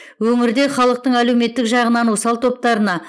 өңірде халықтың әлеуметтік жағынан осал топтарына